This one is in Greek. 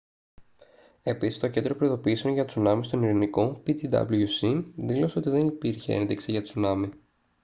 επίσης το κέντρο προειδοποιήσεων για τσουνάμι στον ειρηνικό ptwc δήλωσε ότι δεν υπήρχε ένδειξη για τσουνάμι